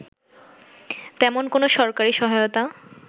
তেমন কোনো সরকারি সহায়তা